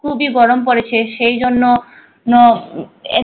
খুবিই গরম পরেছে সেইজন্য নো নো আহ